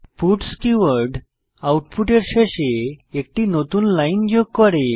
puts keyword আউটপুটের শেষে একটি নতুন লাইন যোগ করে